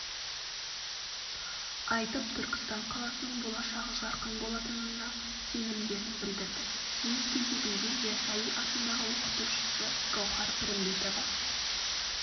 айтып түркістан қаласының болашағы жарқын болатынына сенімдерін білдірді өз кезегінде ясауи атындағы оқытушысы гаухар пірімбетова